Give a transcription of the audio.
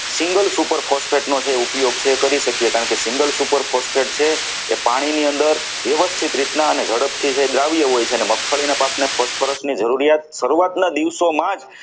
superphosphorus નો જે ઉપયોગ છે તે કરી શકીએ કારણ કે single super phosphate છે એ પાણીની અંદર વ્યવસ્થિત રીતે અને ઝડપથી જે દ્રાવ્ય હોય છે અને મગફળીના પાકને phosphorus ની જરૂરિયાત શરૂઆતના દિવસોમાં જ